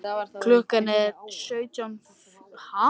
Klukkan er stundarfjórðung gengin í ellefu.